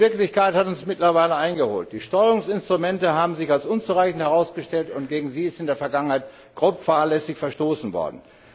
Die Wirklichkeit hat uns mittlerweile eingeholt. Die Steuerungsinstrumente haben sich als unzureichend herausgestellt und gegen sie ist in der Vergangenheit grob fahrlässig verstoßen worden.